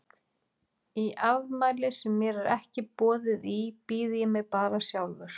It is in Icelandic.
Í afmæli sem mér er ekki boðið í býð ég mér bara sjálfur.